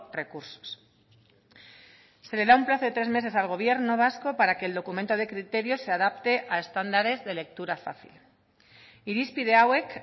recursos se le da un plazo de tres meses al gobierno vasco para que el documento de criterios se adapte a estándares de lectura fácil irizpide hauek